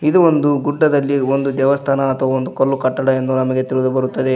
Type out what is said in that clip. ಇದು ಒಂದು ಗುಡ್ಡದಲ್ಲಿ ಒಂದು ದೇವಸ್ಥಾನ ಅಥವಾ ಒಂದು ಕಲ್ಲು ಕಟ್ಟಡ ಎಂದು ನಮಗೆ ತಿಳಿದು ಬರುತ್ತದೆ.